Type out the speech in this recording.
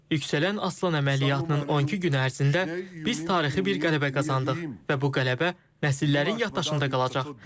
Yüksələn Aslan əməliyyatının 12 günü ərzində biz tarixi bir qələbə qazandıq və bu qələbə nəsillərin yaddaşında qalacaq.